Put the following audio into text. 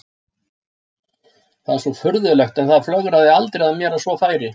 Það er svo furðulegt en það flögraði aldrei að mér að svona færi.